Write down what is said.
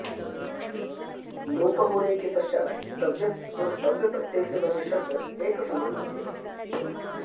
लोप होने के पश्चात् तव्यत् और तव्य प्रत्यय से बने शब्द एक समान होते हैं